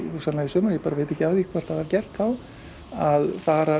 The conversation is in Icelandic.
hugsanlega í sumar ég bara veit ekki af því hvort það var gert þá að fara